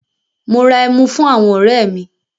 Mo ra ẹmu fún àwọn ọ̀rẹ́ mi.